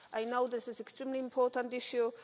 I know this is an extremely important issue.